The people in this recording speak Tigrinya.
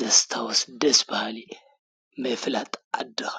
ዘስታውስ ደስ በሃሊ ምፍላጥ ዓድኻ::